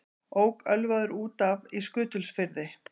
Ók ölvaður út af í Skutulsfirði